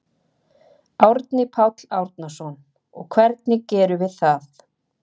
Árni Páll Árnason: Og hvernig gerum við það?